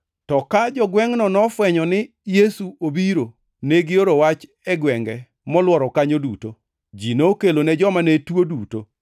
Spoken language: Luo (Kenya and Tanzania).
To ka jogwengʼno nofwenyo ni Yesu obiro, negioro wach e gwenge molworo kanyo duto. Ji nokelone joma ne tuo duto